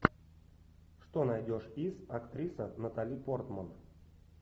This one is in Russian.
что найдешь из актриса натали портман